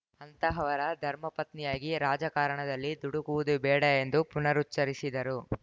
ಅಂತಹವರ ಧರ್ಮಪತ್ನಿಯಾಗಿ ರಾಜಕಾರಣದಲ್ಲಿ ದುಡುಕುವುದು ಬೇಡ ಎಂದು ಪುನರುಚ್ಚರಿಸಿದರು